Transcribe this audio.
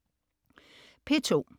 P2: